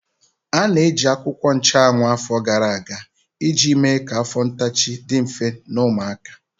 A na-eji akwụkwọ nchuanwu afọ gara aga iji mee ka afọ ntachi dị mfe na ụmụaka.